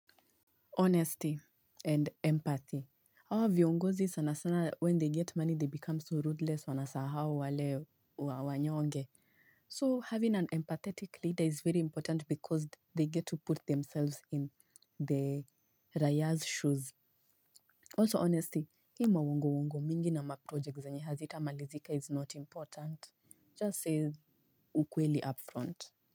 Honesty and empathy. Hawa viongozi sana sana when they get money they become so rudeless wanasahau wale wanyonge. So having an empathetic leader is very important because they get to put themselves in the raia's shoes. Also honesty, hii mauongo-uongo mingi na maproject zenye hazita malizika is not important. Just say ukweli up front.